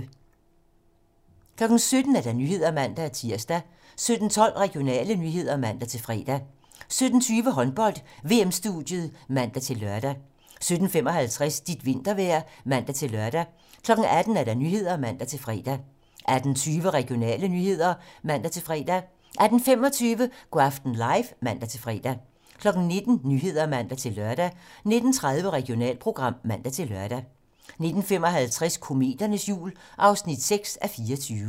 17:00: 17 Nyhederne (man-tir) 17:12: Regionale nyheder (man-fre) 17:20: Håndbold: VM-studiet (man-lør) 17:55: Dit vintervejr (man-lør) 18:00: 18 Nyhederne (man-fre) 18:20: Regionale nyheder (man-fre) 18:25: Go' aften live (man-fre) 19:00: 19 Nyhederne (man-lør) 19:30: Regionalprogram (man-lør) 19:55: Kometernes jul (6:24)